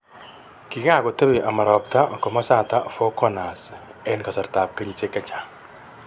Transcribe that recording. Kikakotebi ama ropta komasta Four Corners eng' kasartab kenyisiek chechang'